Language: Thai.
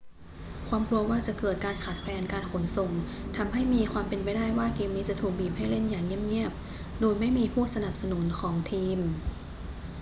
ความกลัวว่าจะเกิดการการขาดแคลนการขนส่งทำให้มีความเป็นไปได้ว่าเกมนี้จะถูกบีบให้เล่นอย่างเงียบ ๆ โดยไม่มีผู้สนับสนุนของทีม